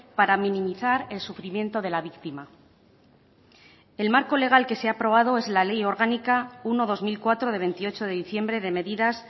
para minimizar el sufrimiento de la víctima el marco legal que se ha aprobado es la ley orgánica uno barra dos mil cuatro de veintiocho de diciembre de medidas